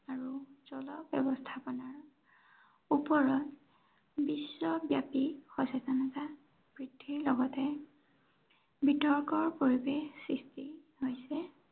আৰু জল ব্য়ৱস্থাপনাৰ ওপৰত বিশ্ব ব্য়াপী সচেতনতা বৃদ্ধিৰ লগতে বিতৰ্কৰ পৰিৱেশ সৃষ্টি হৈছে।